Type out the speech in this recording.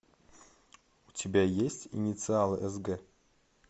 у тебя есть инициалы сг